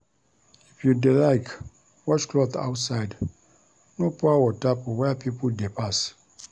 If you dey like wash cloth outside, no pour water for where pipo dey pass.